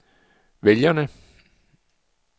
vælgerne